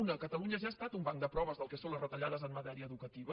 una catalunya ja ha estat un banc de proves del que són les retallades en matèria educativa